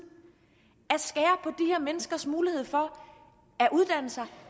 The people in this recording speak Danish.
at menneskers mulighed for at uddanne sig